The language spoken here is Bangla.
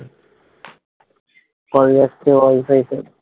call যাচ্ছে wifi তে।